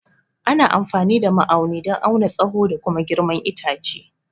Ana amfani da ma'auni don auna tsaho da kuma girman itace.